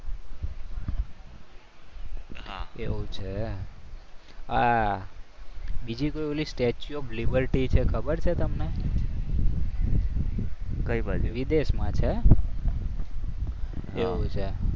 હા એવું છે. આ બીજી કોઈ પેલી સ્ટેચ્યુ ઓફ લિબર્ટી છે. ખબર છે તમને? વિદેશમાં છે એવું છે.